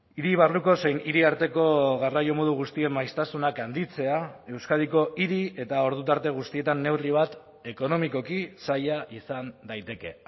hiri barruko zein hiri arteko garraio modu guztien maiztasunak handitzea euskadiko hiri eta ordu tarte guztietan neurri bat ekonomikoki zaila izan daiteke